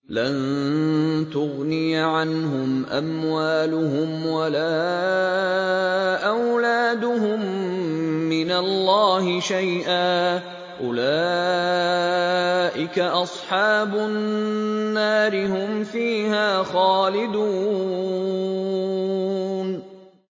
لَّن تُغْنِيَ عَنْهُمْ أَمْوَالُهُمْ وَلَا أَوْلَادُهُم مِّنَ اللَّهِ شَيْئًا ۚ أُولَٰئِكَ أَصْحَابُ النَّارِ ۖ هُمْ فِيهَا خَالِدُونَ